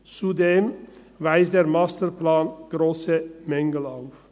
Zudem weist der Masterplan grosse Mängel auf.